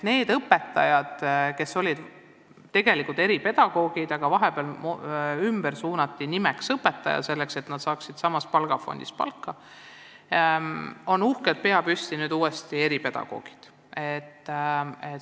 Need õpetajad, kes olid tegelikult eripedagoogid, aga vahepeal nimetati ümber õpetajateks, et nad saaksid samast palgafondist palka, on nüüd, pea püsti, uuesti eripedagoogid.